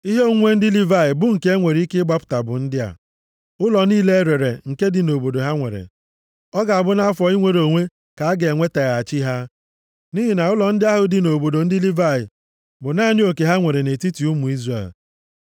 Ihe onwunwe ndị Livayị bụ nke e nwere ike ịgbapụta, bụ ndị a, ụlọ niile e rere nke dị nʼobodo ha nwere. Ọ ga-abụ nʼafọ inwere onwe ka aga enwetaghachi ha, nʼihi na ụlọ ndị ahụ dị nʼobodo ndị Livayị bụ naanị oke ha nwere nʼetiti ụmụ Izrel.